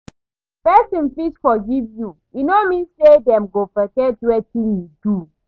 Person fit forgive you, e no mean say dem go forget wetin you do.